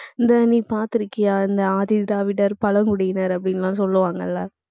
இந்த நீ பாத்திருக்கியா? இந்த ஆதிதிராவிடர், பழங்குடியினர் அப்படின்னு எல்லாம் சொல்லுவாங்கல்ல